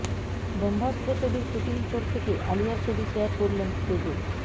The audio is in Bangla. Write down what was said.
ব্রহ্মাস্ত্র ছবির শুটিং ফ্লোর থেকে আলিয়ার ছবি শেয়ার করলেন কেজো